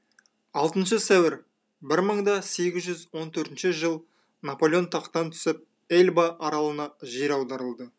алтыншы сәуір бір мың да сегіз жүз он төртінші жыл наполеон тақтан түсіп эльба аралына жер аударылды